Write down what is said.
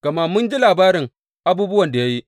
Gama mun ji labarin abubuwan da ya yi.